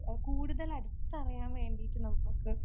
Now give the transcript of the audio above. ആഹ് കൂടുതൽ അടുത്തറിയൻ വേണ്ടിയിട്ട് നമുക്കൊക്കെ